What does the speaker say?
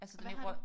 Hvad har du?